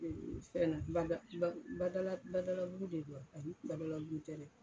Ee fɛn na, bada badalabugu de don wa ? A yi badalabugu tɛ dɛ!